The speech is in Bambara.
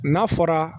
N'a fɔra